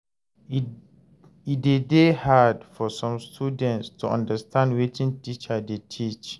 E de dey hard for some students to understand wetin teacher de teach